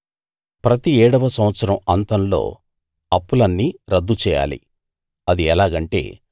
ప్రతి ఏడవ సంవత్సరం అంతంలో అప్పులన్నీ రద్దు చేయాలి అది ఎలాగంటే